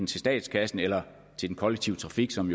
til statskassen eller til den kollektive trafik som